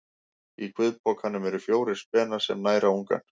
Í kviðpokanum eru fjórir spenar sem næra ungann.